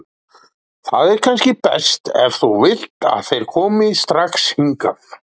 Það er kannski best, ef þú vilt, að þeir komi strax hingað.